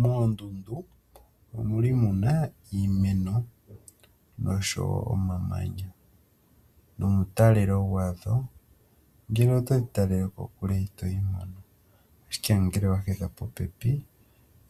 Moondundu omuna iimeno nosho woo omamanya nongele toyi talele kokule itoyi mono ashike ngele owahedha popepi